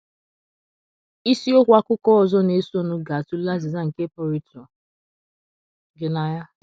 Isiokwu akuko ozo na - esonụ ga - atụle azịza nke pụrụ ịtụ gị n’anya.